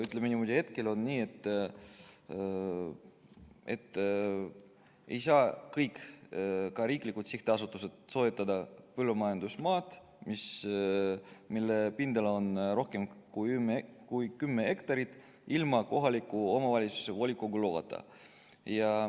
Ütleme niimoodi, et hetkel on nii, et mitte ükski sihtasutus, ka riiklik sihtasutus, ei saa soetada põllumajandusmaad, mille pindala on rohkem kui kümme hektarit, ilma kohaliku omavalitsuse volikogu loata.